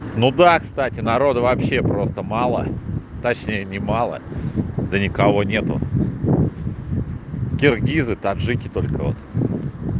ну да кстати народу вообще просто мало точнее не мало да никого нет киргизы таджики только вот